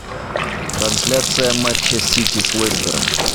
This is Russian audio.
трансляция матча сити с лестером